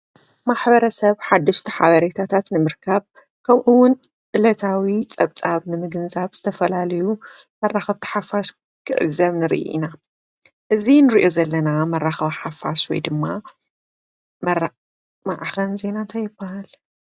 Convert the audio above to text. ማሕበረሰብ ሓደሽቲ ሓበሬታታት ንምርካብ ከምኡ እውን ዕለታዊ ፀብፃብ ንምግንዛብ ዝተፈላለዩ መራከብቲ ሓፋሽ ክዕዘብ ንርኢ ኢና። እዚ ንሪኦ ዘለና መሪከቢ ሓፋሽ ወይ ድማ ማዕከን ዜና እንታይ ይበሃል?